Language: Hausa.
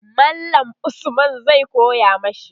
mallam Usman zai koya mashi